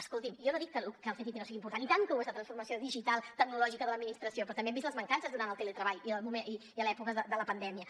escolti’m jo no dic que el ctti no sigui important i tant que ho és la transformació digital tecnològica de l’administració però també n’hem vist les mancances durant el teletreball i a l’època de la pandèmia